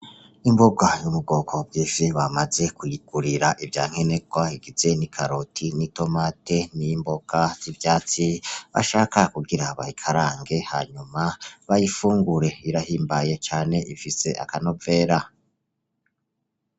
Imboga yo mu bwoko bw'ifi, bamaze kuyigurira ivyankenerwa bigizwe n'ikaroti, n'itomate n'imboga zivyatsi ashaka kugira bayikarange, hanyuma bayifungure birahimbaye cane bifise akanovera.